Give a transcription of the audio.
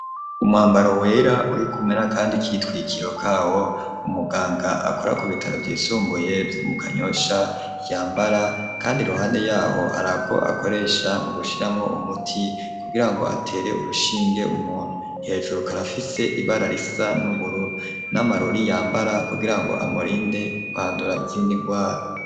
Umwambaro wera urikumwe n'akandi kitwikiro kawo umuganga akora ku bitaro vy'isumbuye vyo mu kanyosha yambara kandi iruhande yaho harako akoresha mu gushiramwo umuti kugira ngo atere urushinge umuntu hejuru karafise ibara risa n'ubururu n'amarori yambara kugira ngo amurinde kwandura izindi ngwara.